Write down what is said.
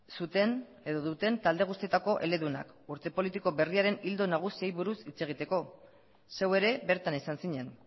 zuten edo duten talde guztietako eledunak urte politiko berriaren ildo nagusiei buruz hitz egiteko zeu ere bertan izan zinen